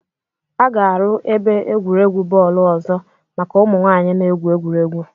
A ga-aru ebe egwuregwu bọọlụ ọzọ maka ụmụ nwanyị na-egwu egwuregwu